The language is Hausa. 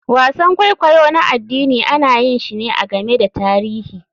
Wasan kwaikwayo na addini ana yin shi ne a game da tarihi.